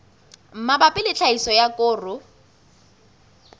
mabapi le tlhahiso ya koro